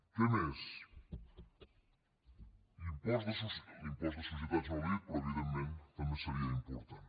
què més l’impost de societats no l’he dit però evidentment també seria important